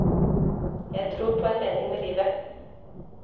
Jeg tror på en mening med livet.